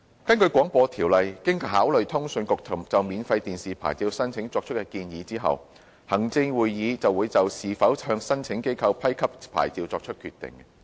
根據《廣播條例》，經考慮通訊局就免費電視牌照申請作出建議後，行政長官會同行政會議會就是否向申請機構批給牌照作出決定。